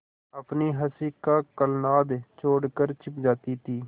अपनी हँसी का कलनाद छोड़कर छिप जाती थीं